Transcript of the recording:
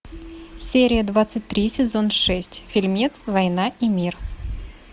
серия двадцать три сезон шесть фильмец война и мир